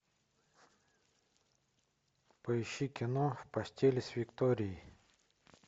поищи кино в постели с викторией